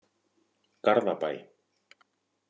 Garðabæ